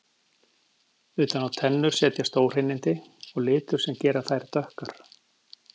Utan á tennur setjast óhreinindi og litur sem gera þær dökkar.